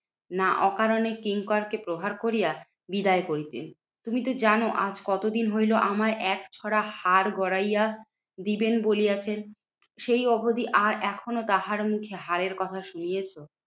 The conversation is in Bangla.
না অকারণে কিঙ্করকে প্রহার করিয়া বিদায় করিতেন? তুমি তো জানো আজ কতদিন হইলো আমার একছড়া হার গরাইয়া দিবেন বলিয়াছেন, সেই অবধি আর এখনও তাহার কি হারের কথা শুনিয়েছ?